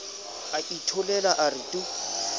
a itholela a re tu